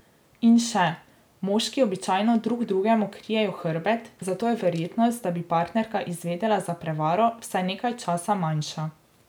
In še, moški običajno drug drugemu krijejo hrbet, zato je verjetnost, da bi partnerka izvedela za prevaro, vsaj nekaj časa manjša.